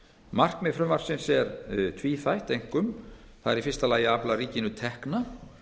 markmið frumvarpsins er einkum tvíþætt það er í fyrsta lagi að afla ríkinu tekna